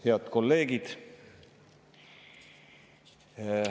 Head kolleegid!